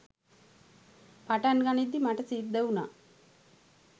පටන් ගනිද්දි මට සිද්ධ වුණා